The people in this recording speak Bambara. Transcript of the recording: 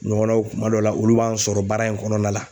Ɲɔgɔnnaw kuma dɔw la olu b'an sɔrɔ baara in kɔnɔna la.